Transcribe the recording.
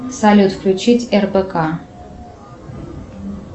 салют включить рбк